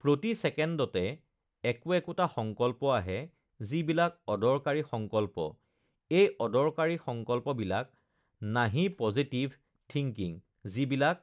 প্ৰতি ছেকেণ্ডতে একো-একোটা সংকল্প আহে, যিবিলাক অদৰকাৰী সংকল্প, এই অদৰকাৰী সংকল্পবিলাক নাহি পজিটিভ থিংকিং যিবিলাক